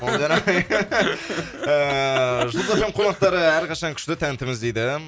молдияр ағай ыыы қонақтары әрқашан күшті тәнтіміз дейді